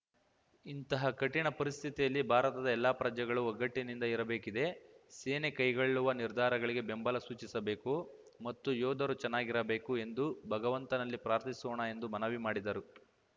ಇಂತಹ ಕಠಿಣ ಪರಿಸ್ಥಿತಿಯಲ್ಲಿ ಭಾರತದ ಎಲ್ಲಾ ಪ್ರಜೆಗಳು ಒಗ್ಗಟ್ಟಿನಿಂದ ಇರಬೇಕಿದೆ ಸೇನೆ ಕೈಗೊಳ್ಳುವ ನಿರ್ಧಾರಗಳಿಗೆ ಬೆಂಬಲ ಸೂಚಿಸಬೇಕು ಮತ್ತು ಯೋಧರು ಚೆನ್ನಾಗಿರಬೇಕು ಎಂದು ಭಗವಂತನಲ್ಲಿ ಪ್ರಾರ್ಥಿಸೋಣ ಎಂದು ಮನವಿ ಮಾಡಿದರು